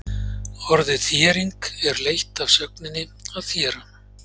Orðið þéring er leitt af sögninni að þéra.